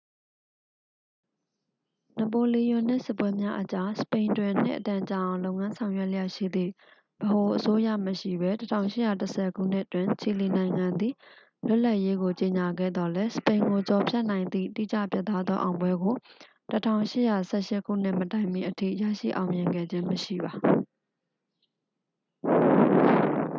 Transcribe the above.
နပိုလီယွန်နစ် စစ်ပွဲများအကြား စပိန်တွင် နှစ်အတန်ကြာအောင် လုပ်ငန်းဆောင်ရွက်လျက်ရှိသည့် ဗဟိုအစိုးရမရှိဘဲ ၁၈၁၀ ခုနှစ်တွင် ချီလီနိုင်ငံသည် လွတ်လပ်ရေးကို ကြေညာခဲ့သော်လည်း၊ စပိန်ကိုကျော်ဖြတ်နိုင်သည့် တိကျပြတ်သားသောအောင်ပွဲကို ၁၈၁၈ ခုနှစ်မတိုင်မီအထိ ရရှိအောင်မြင်ခဲ့ခြင်းမရှိပါ။